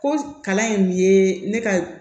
Ko kalan in ye ne ka